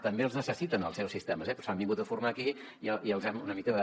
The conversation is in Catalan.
també els necessiten els seus sistemes però s’han vingut a formar aquí i els hem una mica de